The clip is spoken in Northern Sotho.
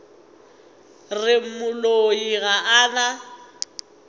re moloi ga a na